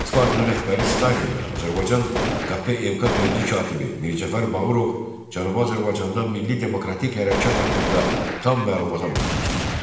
Sovet İttifaqının rəhbəri Stalin və Azərbaycan KP MK birinci katibi Mir Cəfər Bağırov Cənubi Azərbaycanda milli demokratik hərəkat haqqında tam məlumata malik idi.